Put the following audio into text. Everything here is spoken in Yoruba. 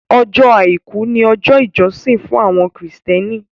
Ọjọ́ Àìkú ni ọjọ́ ìjọsìn fún àwọn Kristẹni